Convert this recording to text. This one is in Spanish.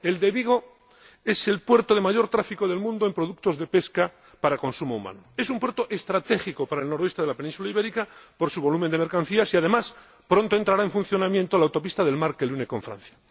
El de Vigo es el puerto de mayor tráfico del mundo en productos de pesca para consumo humano, es un puerto estratégico para el noroeste de la península ibérica por su volumen de mercancías y, además, pronto entrará en funcionamiento la autopista del mar que le une con Francia.